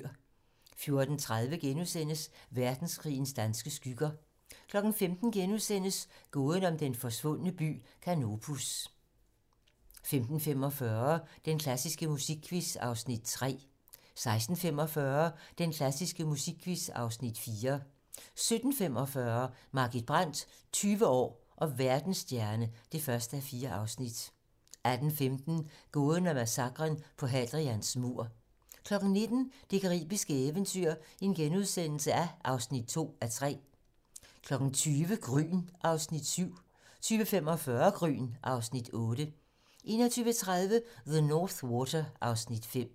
14:30: Verdenskrigens danske skygger * 15:00: Gåden om den forsvundne by Canopus * 15:45: Den klassiske musikquiz (Afs. 3) 16:45: Den klassiske musikquiz (Afs. 4) 17:45: Margit Brandt - 20 år og verdensstjerne (1:4) 18:15: Gåden om massakren på Hadrians mur 19:00: Det caribiske eventyr (2:3)* 20:00: Gryn (Afs. 7) 20:45: Gryn (Afs. 8) 21:30: The North Water (Afs. 5)